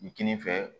Kini fɛ